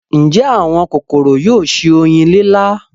ǹjẹ́ àwọn kòkòrò yóò se oyin lílá.